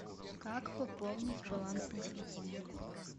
как пополнить баланс на телефоне